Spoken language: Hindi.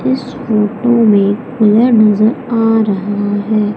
इस फोटो में कुलर नजर आ रहा है।